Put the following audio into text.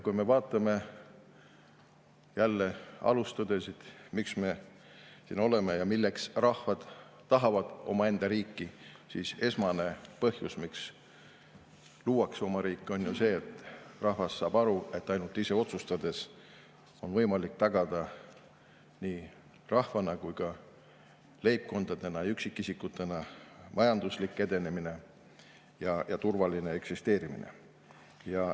Kui me vaatame jälle alustõdesid, miks me siin oleme ja milleks rahvad tahavad omaenda riiki, siis esmane põhjus, miks luuakse oma riik, on ju see, et rahvas saab aru, et ainult ise otsustades on võimalik tagada nii rahvana kui ka leibkondade ja üksikisikutena majanduse edenemine ja turvaline eksisteerimine.